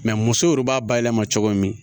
musow yɛrɛ b'a bayɛlɛma cogo min